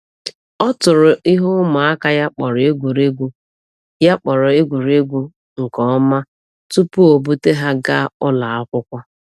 O tụrụ ihe ụmụaka ya kpọrọ egwuregwu ya kpọrọ egwuregwu nke ọma tupu ọ bute ha gaa ụlọ akwụkwọ.